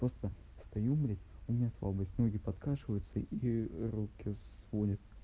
просто стою блядь у меня слабость ноги подкашиваются и руки сводит